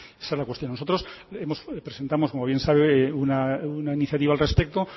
esa es la cuestión nosotros presentamos como bien sabe una iniciativa al respecto